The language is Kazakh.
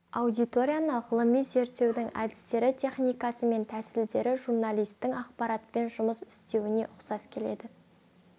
аудиторияны ғылыми зерттеудің әдістері техникасы мен тәсілдері журналистің ақпаратпен жұмыс істеуіне ұқсас келеді